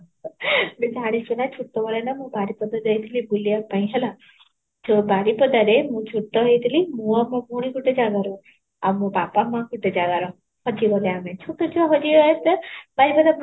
ତୁ ଜାଣିଛୁ ନା ମୁ ଛୋଟ ବେଳେ ନା ମୁଁ ବାରିପଦା ଯାଇଥିଲି ବୁଲିବା ପାଇଁ ହେଲା, ମୁଁ ବାରିପଦାରେ ମୁଁ ଛୋଟ ହେଇଥିଲି ମୁଁ ଆଉ ମୋ ଭଉଣୀ ଗୋଟେ ଜାଗା ରେ ଆଉ ମୋ ବାପା ମା ଗୋଟେ ଜାଗାର ହଜି ଗଲୁ ଆମେ, ଛୋଟୋ ଛୁଆ ହଜି ଗଲେ ବାରିପଦା